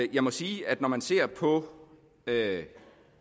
jeg må sige at når man ser på